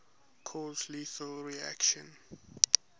cause lethal reactions